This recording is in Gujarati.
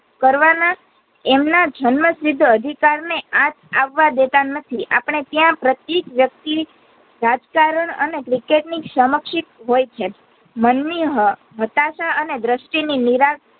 કરવાના એમના જન્મ સિદ્ધ અધિકાર ને આંચ આવા દેતા નથી અપડે ત્યાં પ્રતીયએક વ્યક્તિ ની રાજકારણ અને cricket ની સમક્ષિત હોઈ છે મનની હ હતાશા અને દ્રષ્ટિ ની નીરાશા